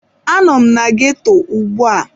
Anọ m na ghetto ugbu a.